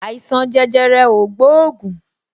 Àìsàn jẹjẹrẹ o gbóògùn